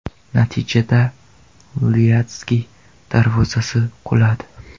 Natijada, Lyadskiy darvozasi quladi.